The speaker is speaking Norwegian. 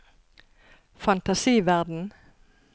fantasiverden